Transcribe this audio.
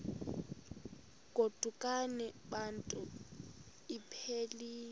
godukani bantu iphelil